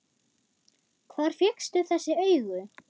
Hvar fékkstu þessi augu?